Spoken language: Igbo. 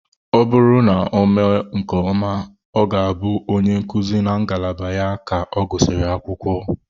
Ọ bụrụ na ọ mee nke ọma, ọ ga-abụ onye nkuzi na ngalaba ya ka ọ gụsịrị akwụkwọ.